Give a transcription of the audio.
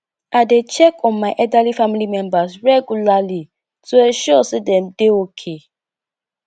i dey check on my elderly family members regularly to ensure sey dem dey okay